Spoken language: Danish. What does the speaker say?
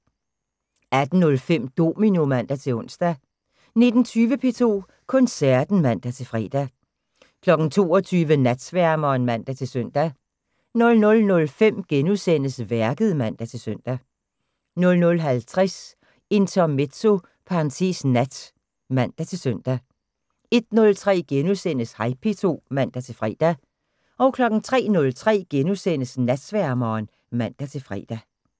18:05: Domino (man-ons) 19:20: P2 Koncerten (man-fre) 22:00: Natsværmeren (man-søn) 00:05: Værket *(man-søn) 00:50: Intermezzo (nat) (man-søn) 01:03: Hej P2 *(man-fre) 03:03: Natsværmeren *(man-fre)